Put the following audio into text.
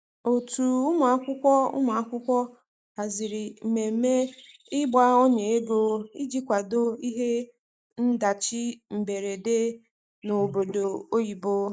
otu ụmụakwụkwọ ụmụakwụkwọ haziri mmeme igba ọnya ego ịjị kwado ihe ndachi mgberede n'obodo oyibo